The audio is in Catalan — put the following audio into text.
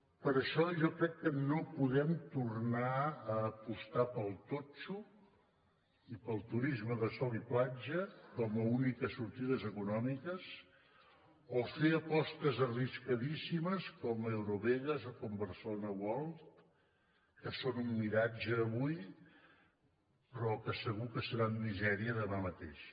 per això jo crec que no podem tornar a apostar pel totxo i pel turisme de sol i platja com a úniques sortides econòmiques o fer apostes arriscadíssimes com eurovegas o com barcelona world que són un miratge avui però que segur que seran misèria demà mateix